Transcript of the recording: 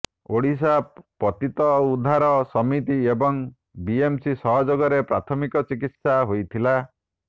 ଓଡ଼ିଶା ପତିତା ଉଦ୍ଧାର ସମିତି ଏବଂ ବିଏମ୍ସି ସହଯୋଗରେ ପ୍ରାଥମିକ ଚିକିତ୍ସା ହୋଇଥିଲା